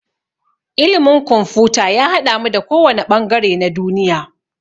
Ilimin kumfuta ya haɗamu da ko wanne ɓangare na duniya